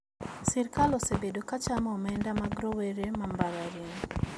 Sirkal osebedo ka chamo omenda mar rowere ma mbalariany